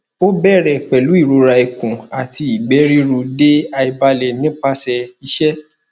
o bere pelu irora ikun ati igbe ruru de aibale nipase ise